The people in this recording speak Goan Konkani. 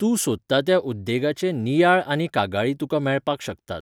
तूं सोदता त्या उद्येगाचे नियाळ आनी कागाळी तुका मेळपाक शकतात.